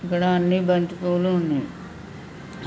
ఇక్కడ అన్నీ బంతి పువ్వులు ఉన్నాయి.